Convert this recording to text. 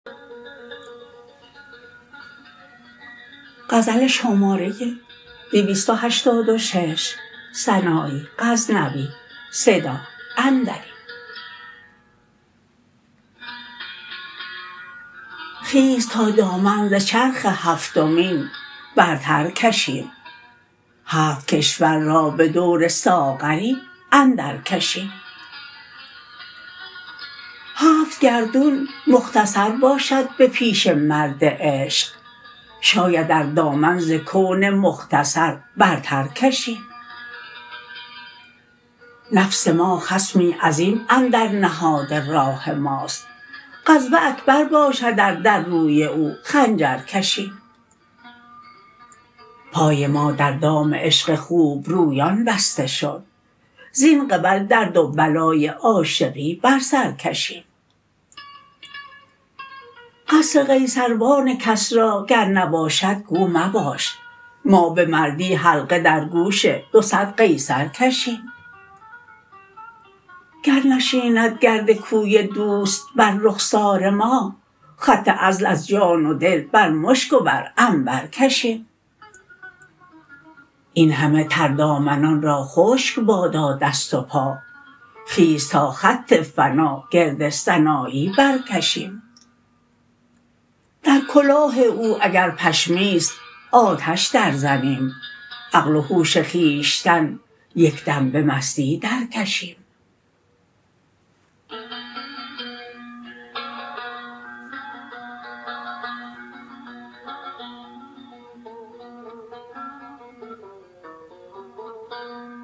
خیز تا دامن ز چرخ هفتمین برتر کشیم هفت کشور را به دور ساغری اندر کشیم هفت گردون مختصر باشد به پیش مرد عشق شاید ار دامن ز کون مختصر برتر کشیم نفس ما خصمی عظیم اندر نهاد راه ماست غزو اکبر باشد ار در روی او خنجر کشیم پای ما در دام عشق خوبرویان بسته شد زین قبل درد و بلای عاشقی بر سر کشیم قصر قیصروان کسری گر نباشد گو مباش ما به مردی حلقه در گوش دو صد قیصر کشیم گر نشیند گرد کوی دوست بر رخسار ما خط عزل از جان و دل بر مشک و بر عنبر کشیم این همه تر دامنان را خشک بادا دست و پا خیز تا خط فنا گرد سنایی برکشیم در کلاه او اگر پشمی ست آتش در زنیم عقل و هوش خویشتن یک دم به مستی در کشیم